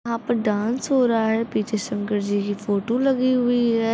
यहाँ पे डांस हो रहा है पीछे शंकर जी की फोटो लगी हुई है।